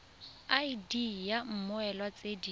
id ya mmoelwa tse di